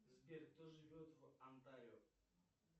сбер кто живет в онтарио